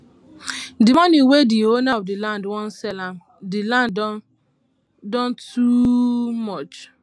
the money wey the owner of the land wan sell um the land don too um much